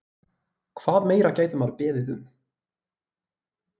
Hvað meira gæti maður beðið um?